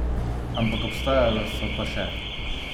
Ampak obstajala so pa še?